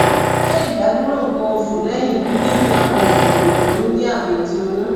ṣe idaduro nkan osu lẹhin gbigbemi awọn oogun idena oyun jẹ ami ti oyun